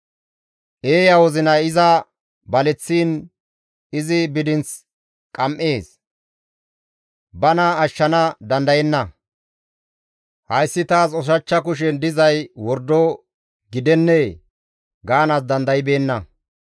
Eeya wozinay iza baleththiin izi bidinth qam7ees; bana ashshana dandayenna; «Hayssi taas ushachcha kushen dizay wordo gidennee? gaanaas dandaybeenna.»